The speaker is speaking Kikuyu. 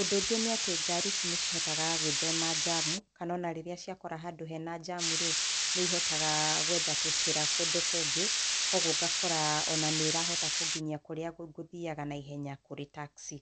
Ũndũ ũngĩ nĩ atĩ ngari ici nĩ cihotaga gũĩthema njamu, kana onarĩrĩa ciakora handũ hena njamu-rĩ, nĩ ihotaga gwetha tũcira kũndũ kũngĩ, kwoguo ngakora ona nĩ ĩrahota kũnginyia kũrĩa ngũthiaga naihenya kũrĩ taxi.